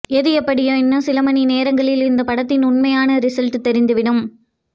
எது எப்படியோ இன்னும் சில மணி நேரங்களில் இந்த படத்தின் உண்மையான ரிசல்ட் தெரிந்துவிடும்